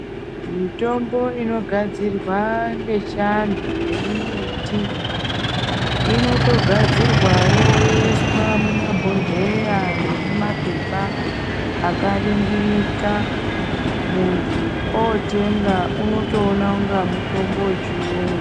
Mitombo inogadzirwa ngechiantu yemimbiti, inotogadzirwawo yoiswa mumabhodhleya nemumapepa akaringirika. Munhu ootenga unotoona kungaamutombo wechiyungu.